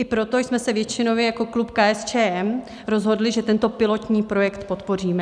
I proto jsme se většinově jako klub KSČM rozhodli, že tento pilotní projekt podpoříme.